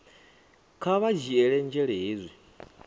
kha vha dzhiele nzhele hezwi